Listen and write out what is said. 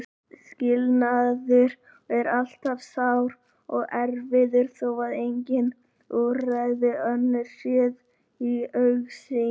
Skilnaður er alltaf sár og erfiður þó að engin úrræði önnur séu í augsýn.